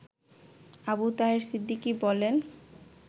আবু তাহের সিদ্দিকী বলেন